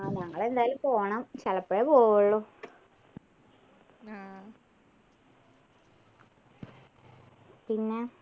ആഹ് ഞങ്ങളെല്ലരും പോണം ചെലപ്പൊഴേ പോവുള്ളു പിന്നെ